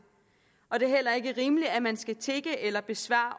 og det er heller ikke rimeligt at man skal tigge eller besvare